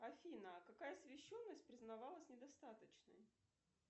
афина какая освещенность признавалась недостаточной